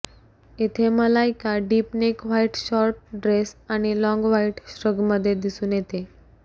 इथे Malaika deep neck white short dress आणि long white श्रगमध्ये दिसून येते